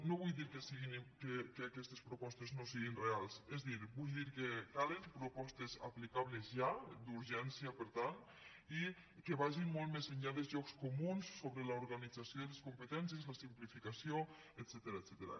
no vull dir que aquestes propostes no siguin reals és a dir vull dir que calen propostes aplicables ja d’urgència per tant i que vagin molt més enllà dels llocs comuns sobre l’organització i les competències i la simplificació etcètera